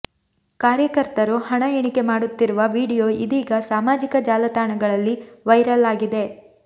ಕಾರ್ಯಕರ್ತರು ಹಣ ಎಣಿಕೆ ಮಾಡುತ್ತಿರುವ ವಿಡಿಯೋ ಇದೀಗ ಸಾಮಾಜಿಕ ಜಾಲತಾಣಗಳಲ್ಲಿ ವೈರಲ್ ಆಗಿದೆ